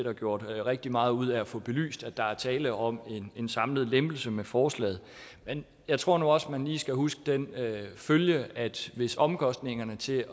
er gjort rigtig meget ud af at få belyst at der er tale om en samlet lempelse med forslaget jeg tror nu også at man lige skal huske den følge at hvis omkostningerne til